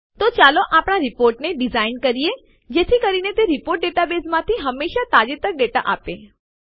તો ચાલો આપણા રીપોર્ટને ડીઝાઇન કરીએ જેથી કરીને રીપોર્ટ ડેટાબેઝમાંથી હંમેશા તાજેતરના ડેટા આપે